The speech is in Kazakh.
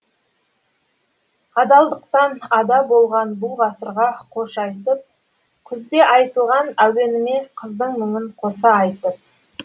адалдықтан ада болған бұл ғасырға қош айтып күзде айтылған әуеніме қыздың мұңын қоса айтып